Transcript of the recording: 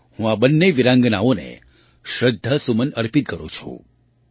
હું આ બંને વીરાંગનાઓને શ્રદ્ધાસુમન અર્પિત કરું છું